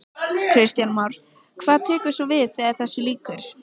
Kristján Már: Hvað tekur svo við þegar þessu lýkur?